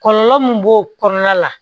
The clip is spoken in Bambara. Kɔlɔlɔ min b'o kɔnɔna la